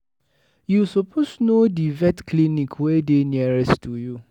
You suppose know di vet clinic wey dey nearest to you.